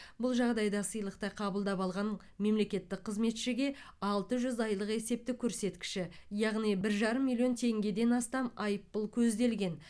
бұл жағдайда сыйлықты қабылдап алған мемлекеттік қызметшіге алты жүз айлық есептік көрсеткіші яғни бір жарым миллион теңгеден астам айыппұл көзделген